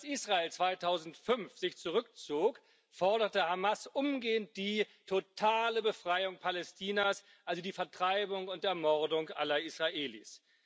Als sich Israel 2005 zurückzog, forderte Hamas umgehend die totale Befreiung Palästinas, also die Vertreibung und Ermordung aller Israelis.